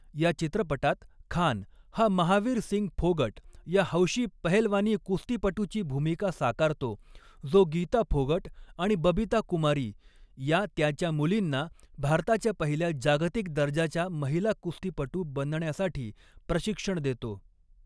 या चित्रपटात खान हा महावीर सिंग फोगट या हौशी पहेलवानी कुस्तीपटूची भूमिका साकारतो, जो गीता फोगट आणि बबिता कुमारी या त्याच्या मुलींना भारताच्या पहिल्या जागतिक दर्जाच्या महिला कुस्तीपटू बनण्यासाठी प्रशिक्षण देतो.